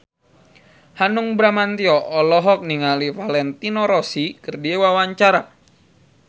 Hanung Bramantyo olohok ningali Valentino Rossi keur diwawancara